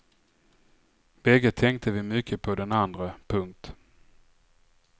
Bägge tänkte vi mycket på den andre. punkt